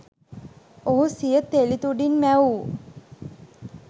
ඔහු සිය තෙළිතුඩින් මැවූ